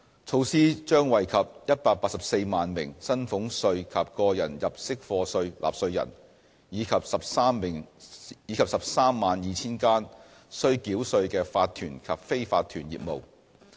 措施將惠及184萬名薪俸稅及個人入息課稅納稅人，以及 132,000 間須繳稅的法團及非法團業務。